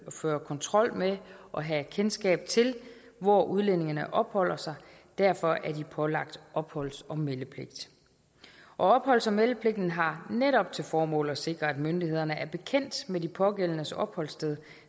at føre kontrol med og have kendskab til hvor udlændingene opholder sig derfor er de pålagt opholds og meldepligt opholds og meldepligten har netop til formål at sikre at myndighederne er bekendt med de pågældendes opholdssted